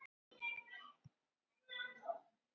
Eigum við að koma í kapp!